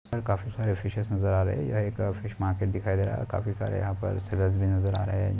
पर काफी सारे फ़िशेस नजर हा रहे है यह एक फिश मार्केट दिखाई दे रहा है और काफी सारे यहा पर नजर हा रह है।